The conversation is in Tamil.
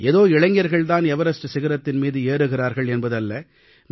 ஏதோ இளைஞர்கள் தான் எவரஸ்ட் சிகரத்தின் மீது ஏறுகிறார்கள் என்பது அல்ல